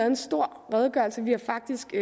en stor redegørelse vi har faktisk